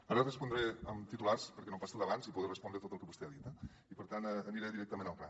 ara respondré amb titulars perquè no em passi el d’abans i poder respondre tot el que vostè ha dit eh per tant aniré directament al gra